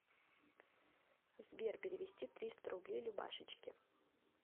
сбер перевести триста рублей любашечке